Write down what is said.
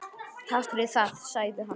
Takk fyrir það- sagði hann.